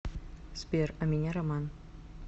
сбер а меня роман